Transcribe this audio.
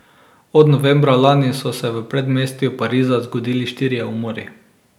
Od novembra lani so se v predmestju Pariza zgodili štirje umori.